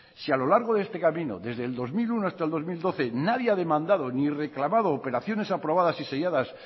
si a lo largo de este camino desde el dos mil uno hasta el dos mil doce nadie ha demandado ni reclamado operaciones aprobadas y selladas